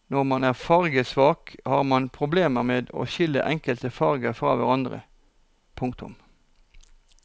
Når man er fargesvak har man problemer med å skille enkelte farger fra hverandre. punktum